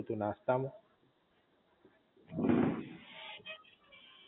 શું હતું નાસ્તા માં?